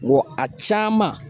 Wa a caman